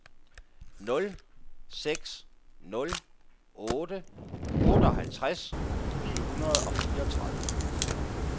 nul seks nul otte otteoghalvtreds ni hundrede og fireogtredive